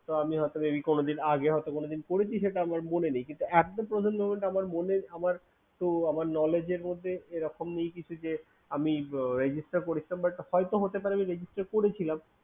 আমি ভাবছিলাম আগে হয়তো কোনোদিন করেছি আমার মনে নেই but at the present moment পর্যন্ত তো আমার মনে আমার knowledge র মধ্যে কিছু নেই এরকম কিছু নয় যে Register হয়তো হতে পারে যে Register করেছিলাম